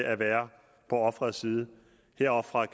at være på offerets side